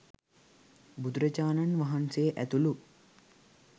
බුදුරජාණන් වහන්සේ ඇතුළු